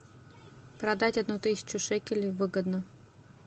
продать одну тысячу шекелей выгодно